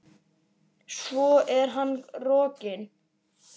Svo er hann rokinn.